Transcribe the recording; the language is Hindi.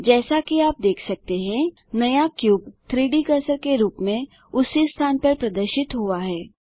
जैसा कि आप देख सकते हैं नया क्यूब 3डी कर्सर के रूप में उसी स्थान पर प्रदर्शित हुआ है